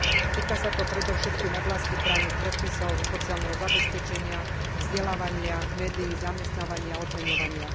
Týka sa to predovšetkým oblastí právnych predpisov, sociálneho zabezpečenia, vzdelávania, médií, zamestnávania, odmeňovania.